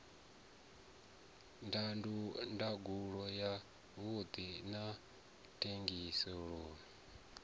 ndangulo ya vhuṱundi na thengiselonn